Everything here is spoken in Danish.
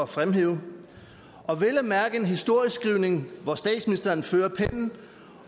fremhæve og vel at mærke en historieskrivning hvor statsministeren førte pennen